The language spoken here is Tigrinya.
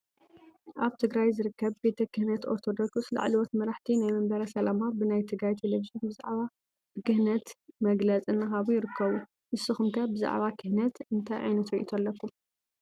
አብ ትግራይ ዝርከብ ቤተክነት አርቶዶከስ ላዕለወት መራሕቲ ናይ መንበረ ስላማ ብናይ ትግራይ ቴሌቪዝን ብዛዕባ ብክነት መግለፅ እናሃቡ ይርከቡ። ንስኩም ከ ብዛዕባ ብክነት እነታይ ዓይነት ሪኢቶ አለኩም?